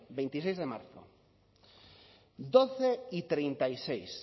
veintiséis de marzo doce y treinta y seis